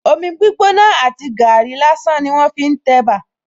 Omi gbígbóná àti gàárì lásán ni wón fi ń tẹ̀bà